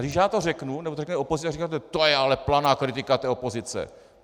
A když já to řeknu nebo to řekne opozice, tak řeknete: "To je ale planá kritika té opozice!"